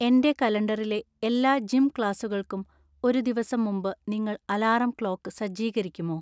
എന്‍റെ കലണ്ടറിലെ എല്ലാ ജിം ക്ലാസുകൾക്കും ഒരു ദിവസം മുമ്പ് നിങ്ങൾ അലാറം ക്ലോക്ക് സജ്ജീകരിക്കുമോ